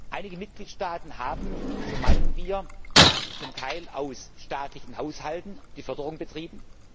Einige Mitgliedstaaten haben, so meinen wir, zum Teil aus staatlichen Haushalten die Förderung betrieben.